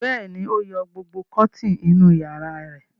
Bẹ́ẹ̀ ni, ó yọ gbogbo kọ́tíínì inú ìyàrá rẹ̀.